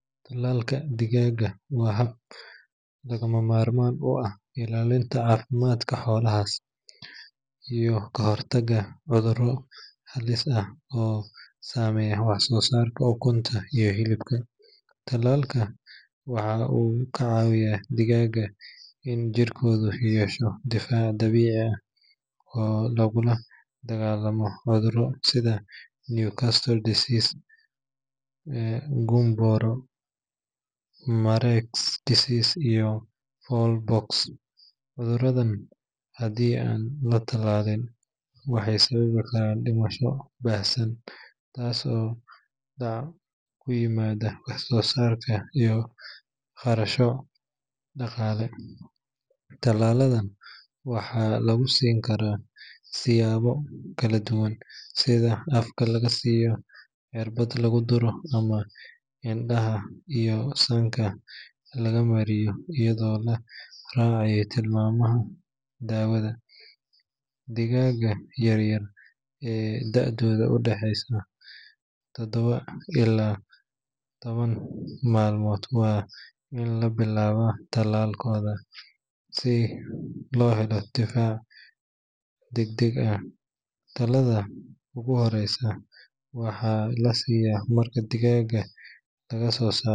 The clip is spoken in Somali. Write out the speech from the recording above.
Talaalka digaagga waa hab lagama maarmaan u ah ilaalinta caafimaadka xoolahaas iyo ka hortagga cudurro halis ah oo saameeya wax-soosaarka ukunta iyo hilibka. Talaalka waxa uu ka caawiyaa digaagga in jirkoodu yeesho difaac dabiici ah oo lagula dagaallamo cudurro sida Newcastle disease, Gumboro, Marek’s disease, iyo Fowl pox. Cuduradan haddii aan la tallaalin waxay sababi karaan dhimasho baahsan, hoos u dhac ku yimaada wax-soosaarka iyo khasaaro dhaqaale. Talaalada waxaa lagu siin karaa siyaabo kala duwan sida afka laga siiyo, cirbad lagu duro, ama indhaha iyo sanka laga mariyo iyadoo la raacayo tilmaamaha daawada. Digaagga yar-yar ee da’doodu tahay todoba ilaa toban maalmood waa in la bilaabaa tallaalkooda si loo helo difaac degdeg ah. Talaalada ugu horreeya waxaa la siiyaa marka digaagga laga soo saaro.